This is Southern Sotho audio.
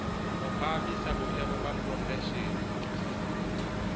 ho phahamisa boemo ba profeshene